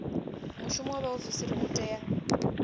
mushumo wa vhaofisiri u tea